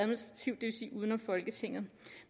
vil sige uden om folketinget